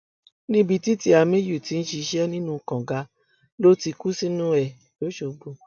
níbi tí tìámíyù ti ń ṣiṣẹ nínú kànga ló ti kú sínú ẹ lọṣọgbó